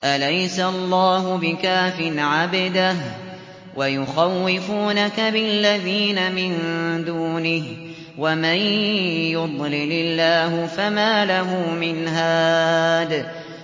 أَلَيْسَ اللَّهُ بِكَافٍ عَبْدَهُ ۖ وَيُخَوِّفُونَكَ بِالَّذِينَ مِن دُونِهِ ۚ وَمَن يُضْلِلِ اللَّهُ فَمَا لَهُ مِنْ هَادٍ